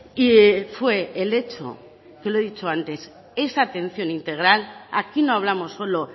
y fue el hecho que lo he dicho antes esa atención integral aquí no hablamos solo